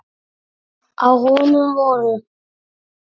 Á honum voru